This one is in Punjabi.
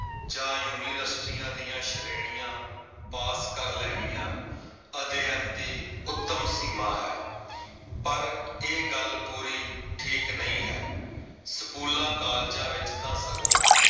ਜਾਂ ਯੂਨੀਵਰਸਿਟੀਆਂ ਦੀਆਂ ਸ਼੍ਰੇਣੀਆਂ ਪਾਸ ਕਰ ਲੈਣੀਆਂ ਅਧਿਐਨ ਦੀ ਉੱਤਮ ਸੀਮਾਂ ਹੈ। ਪਰ ਇਹ ਗੱਲ ਪੂਰੀ ਠੀਕ ਨਈ ਹੈ। ਸਕੂਲਾਂ, ਕਾਲਜਾਂ ਵਿੱਚ ਤਾਂ ਸਗੋਂ